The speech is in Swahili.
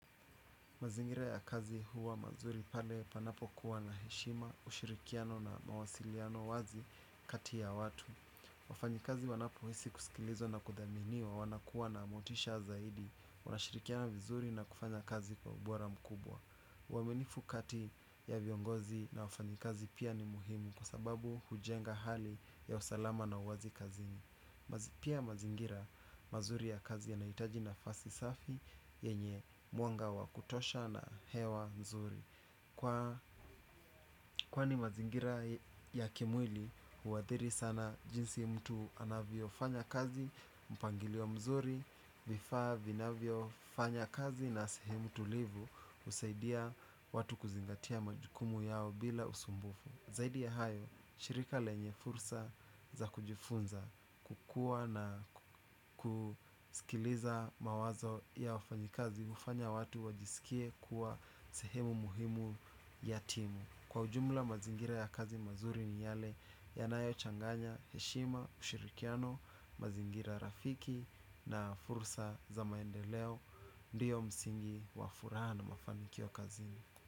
Mazingira ya kazi huwa mazuri pale panapokuwa na heshima, ushirikiano na mawasiliano wazi kati ya watu. Wafanyikazi wanapo hisi kusikilizwa na kudhaminiwa wanakua na motisha zaidi, wanashirikiana vizuri na kufanya kazi kwa ubora mkubwa. Uwaminifu kati ya viongozi na wafanyikazi pia ni muhimu kwa sababu hujenga hali ya usalama na uwazi kazini. Pia mazingira mazuri ya kazi yanahitaji nafasi safi yenye mwanga wa kutosha na hewa mzuri kwani mazingira ya kimwili huadhiri sana jinsi mtu anavyo fanya kazi. Mpangilio mzuri vifaa vinavyo fanya kazi na sehemu tulivu husaidia watu kuzingatia majukumu yao bila usumbufu. Zaidi ya hayo, shirika lenye fursa za kujifunza kukua na kusikiliza mawazo ya wafanyikazi hufanya watu wajisikie kuwa sehemu muhimu ya timu. Kwa ujumla mazingira ya kazi mazuri ni yale yanayo changanya, heshima, ushirikiano, mazingira rafiki na fursa za maendeleo. Ndio msingi wafuraha na mafanikio kazini.